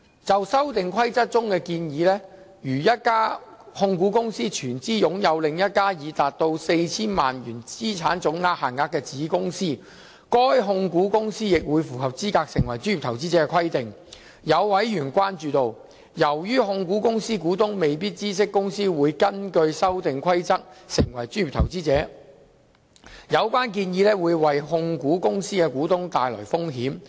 就《修訂規則》中建議，如一家控股公司全資擁有另一家已達到 4,000 萬元資產總值限額的子公司，該控股公司亦會符合資格成為專業投資者的規定，有委員關注到，由於控股公司股東未必知悉公司會根據《修訂規則》成為專業投資者，有關建議會為控股公司的股東帶來風險。